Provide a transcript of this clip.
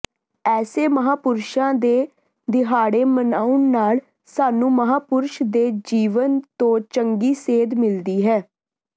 ਐਸੇ ਮਹਾਂਪੁਰਸ਼ਾਂ ਦੇ ਦਿਹਾੜੇ ਮਨਾਉਣ ਨਾਲ ਸਾਨੂੰ ਮਹਾਂਪੁਰਸ਼ ਦੇ ਜੀਵਨ ਤੋਂ ਚੰਗੀ ਸੇਧ ਮਿਲਦੀ ਹੈ